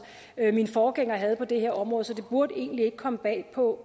min forgænger havde på det her område så det burde egentlig ikke komme bag på